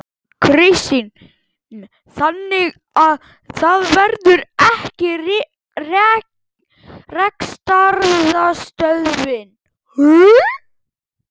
Kristinn: Þannig að það verður ekki rekstrarstöðvun?